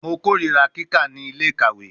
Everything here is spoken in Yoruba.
Mo korira kika ni ile-ikawe